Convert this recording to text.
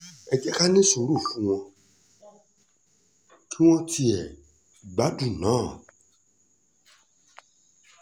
ẹ jẹ́ ká ní sùúrù fún wọn kí wọ́n tiẹ̀ gbádùn ná